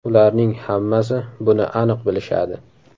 Ularning hammasi buni aniq bilishadi.